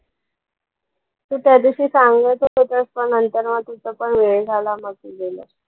तू ते दिवशी सांगत होता, त्यास पण नंतर मग तिथे पण वेळ झाला मग मी गेले.